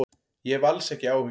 Ég hef alls ekki áhyggjur.